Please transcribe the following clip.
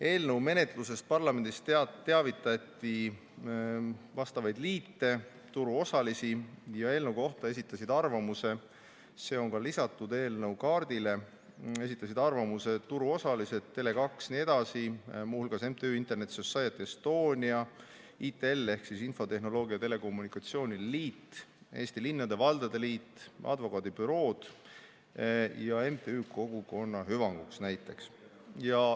Eelnõu menetlusest parlamendis teavitati vastavaid liite, turuosalisi ja eelnõu kohta esitasid arvamuse – see on ka lisatud eelnõu kaardile – turuosalised, Tele2 jne, muu hulgas näiteks MTÜ Internet Society Estonia, ITL ehk Infotehnoloogia ja Telekommunikatsiooni Liit, Eesti Linnade ja Valdade Liit, advokaadibürood ja MTÜ Kogukonna Hüvanguks.